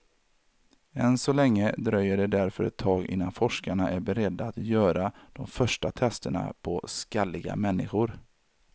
Än så länge dröjer det därför ett tag innan forskarna är beredda att göra de första testerna på skalliga människor.